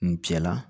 N cɛ la